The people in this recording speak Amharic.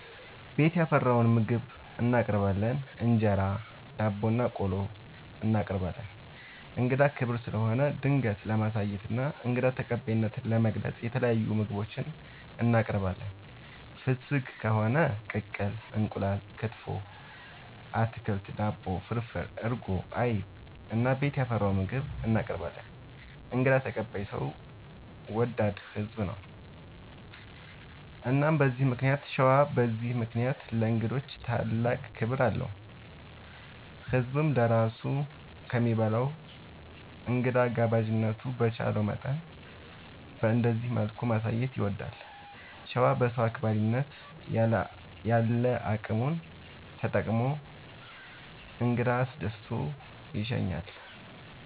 ቤት ያፈራውን ምግብ እናቀርባለን እንጀራ፣ ዳቦናቆሎ እናቀርባለን። እንግዳ ክብር ስለሆነ ደግነት ለማሳየትና እንግዳ ተቀባይነትን ለመግለፅ የተለያዩ ምግቦች እናቀርባለን። ፍስግ ከሆነ ቅቅል እንቁላል፣ ክትፎ፣ አትክልት፣ ዳቦ፣ ፍርፍር፣ እርጎ፣ አይብ እና ቤት ያፈራውን ምግብ እናቀርባለን እንግዳ ተቀባይ ሰው ወዳድ ህዝብ ነው። እና በዚህ ምክንያት ሸዋ በዚህ ምክንያት ለእንግዶች ታላቅ ክብር አለው። ህዝብም ለራሱ ከሚበላ እንግዳ ጋባዥነቱን በቻለው መጠን በእንደዚህ መልኩ ማሳየት ይወዳል። ሸዋ በሰው አክባሪነት ያለ አቅሙን ተጠቅሞ እንግዳ አስደስቶ ይሸኛል።